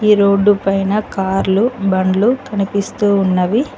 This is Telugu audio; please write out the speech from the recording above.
ఈ రోడ్ పైన కార్ లు బండ్లు కనిపిస్తూ ఉన్నవి.